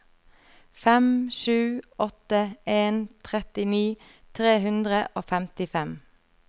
fem sju åtte en trettini tre hundre og femtifem